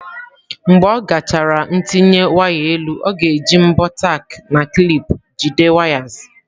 Mgbe ọ gachara ntinye waya elu, ọ ga-eji mbọ tack na clip jide wires.